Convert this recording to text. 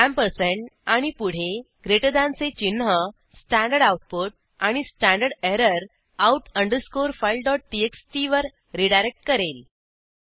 ampersand आणि पुढे greater than चे चिन्ह स्टडआउट आणि स्टडर out अंडरस्कोर fileटीएक्सटी वर रीडायरेक्ट करेल